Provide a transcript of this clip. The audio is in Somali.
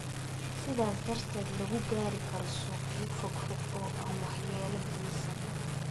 sidaas darteed lagu gaari karo suuqyo fogfog oo aan waxyeello geysan.